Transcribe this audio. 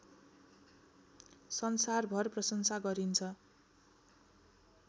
संसारभर प्रसंशा गरिन्छ